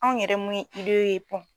Anw yɛrɛ mun ye idee ye bɔn